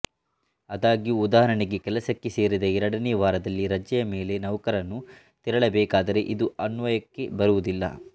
ಆದಾಗ್ಯೂ ಉದಾಹರಣೆಗೆ ಕೆಲಸಕ್ಕೆ ಸೇರಿದ ಎರಡನೇ ವಾರದಲ್ಲಿ ರಜೆಯ ಮೇಲೆ ನೌಕರನು ತೆರಳಬೇಕಾದರೆ ಇದು ಅನ್ವಯಕ್ಕೆ ಬರುವುದಿಲ್ಲ